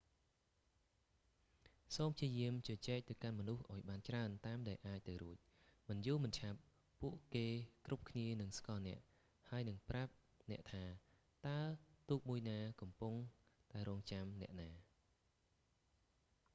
សូមព្យាយាមជជែកទៅកាន់មនុស្សឱ្យបានច្រើនតាមដែលអាចទៅរួច មិនយូរមិនឆាប់ ពួកគេគ្រប់គ្នានឹងស្គាល់អ្នក ហើយនិងប្រាប់អ្នកថាតើទូកមួយណាកំពុងតែរង់ចាំអ្នកណា